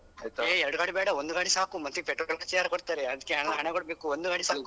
ಹೇ ಎರಡು ಗಾಡಿ ಬೇಡ ಒಂದು ಗಾಡಿ ಸಾಕು ಮತ್ತೆ petrol ಖರ್ಚಿಗೆಲ್ಲ ಯಾರ್ ಕೊಡ್ತಾರೆ ಅದಕ್ಕೆ ಹಣ ಹಣ ಕೊಡ್ಬೇಕು ಒಂದು ಗಾಡಿ ಸಾಕು.